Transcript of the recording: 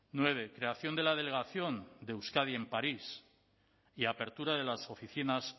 nueve creación de la delegación de euskadi en parís y apertura de las oficinas